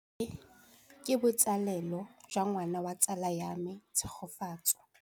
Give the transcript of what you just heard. Tleliniki e, ke botsalêlô jwa ngwana wa tsala ya me Tshegofatso.